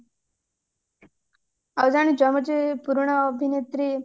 ଆଉ ଜାଣିଛୁ ଆମର ଯୋଉ ପୁରୁଣା ଅଭିନେତ୍ରୀ